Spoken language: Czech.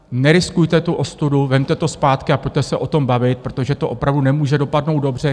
Neriskujte tu ostudu, vezměte to zpátky a pojďte se o tom bavit, protože to opravdu nemůže dopadnout dobře.